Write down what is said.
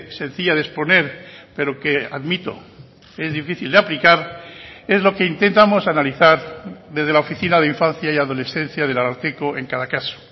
sencilla de exponer pero que admito es difícil de aplicar es lo que intentamos analizar desde la oficina de infancia y adolescencia del ararteko en cada caso